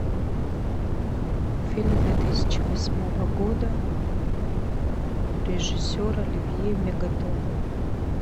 фильм две тысячи восьмого года режиссер оливье мегатон